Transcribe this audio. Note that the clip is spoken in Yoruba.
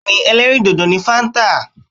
Bẹ́ẹ̀ni ẹlẹ́rìì dòdò ni fáńtà.